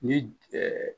Ni